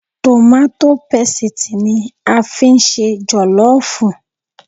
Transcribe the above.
Tòmátó pesìtì ni a fi ń ṣe jọ̀lọ́ọ̀fù